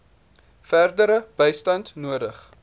verdere bystand nodig